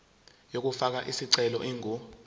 yokufaka isicelo ingu